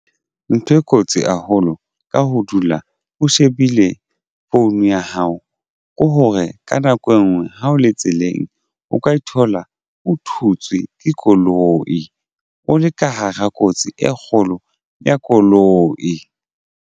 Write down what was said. Ntho e kotsi haholo ka ho dula o shebile phone ya hao ke hore ka nako engwe ha o le tseleng o ka e thola o thutswe ke koloi o le ka hara kotsi e kgolo ya koloi.